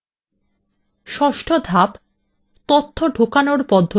ষষ্ঠ ধাপ তথ্য ঢোকানোর পদ্ধতি নির্দিষ্ট করা